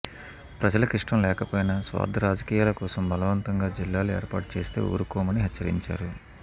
ప్రజలకిష్టం లేకపోయినా స్వార్థ రాజకీయాల కోసం బలవంతంగా జిల్లాలు ఏర్పాటు చేస్తే ఊరుకోమని హెచ్చరించారు